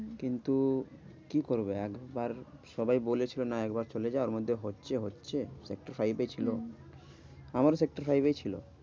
হম কিন্তু কি করবো একবার সবাই বলেছে না একবার চলে যা ওরমধ্যে হচ্ছে হচ্ছে সেক্টর ফাইভে ছিল হম আমার সেক্টর ফাইভেই ছিল।